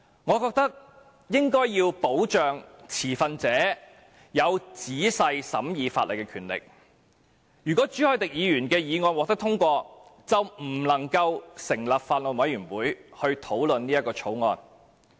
我認為應該要保障持份者有仔細審議法例的權力，如果朱凱廸議員的議案獲得通過，便不能夠成立法案委員會討論《條例草案》。